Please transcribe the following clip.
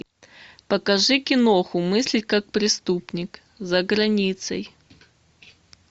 покажи киноху мыслить как преступник за границей